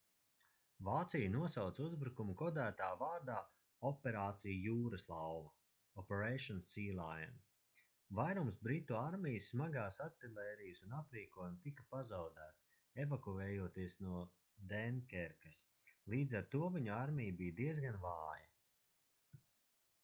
vācija nosauca uzbrukumu kodētā vārdā operācija jūraslauva operation sealion. vairums britu armijas smagās artilērijas un aprīkojuma tika pazaudēts evakuējoties no denkerkas līdz ar to viņu armija bija diezgan vāja